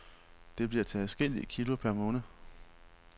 Det bliver til adskillige kilo per måned.